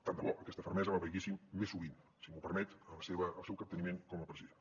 tant de bo aquesta fermesa la veiéssim més sovint si m’ho permet en el seu capteniment com a president